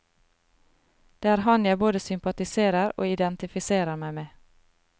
Det er han jeg både sympatiserer og identifiserer meg med.